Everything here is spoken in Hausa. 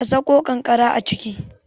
a Sako kankara a ciki?